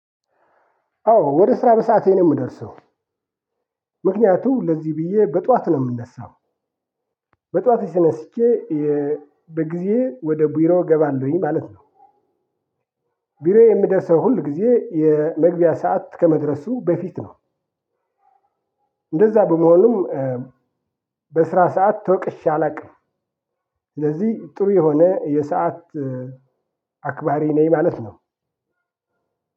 አዎ ወደ ስራ በሰአቴ ነው የምደርሰው። ምክንያቱም ለዚህ ብየ በጠዋት ነው የምነሳው። በጠዋት ተነስቼ በጊዜ ወደ ቢሮ እገባለሁኝ ማለት ነው። ቢሮዬ የሚደርሰው ሁል ጊዜ የመግቢያ ሰዓት ከመድረሱ በፊት ነው። እንደዛ በመሆኑም በስራ ሰዓት ተወቅሼ አላውቅም። ስለዚህ ጥሩ የሆነ የሰዓት አክባሪ ነኝ ማለት ነው።